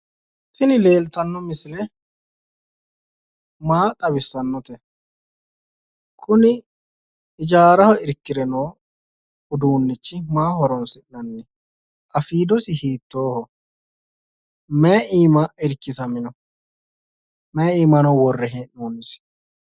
Tini leeltanno misile maa xawissannote? Kuni hijaaraho irkire noo uduunnichi maaho horoonsi'nanni? Afiidosi hiittooho? Mayi iima irkisamino? Mayi iimano worre hee'noonnisi?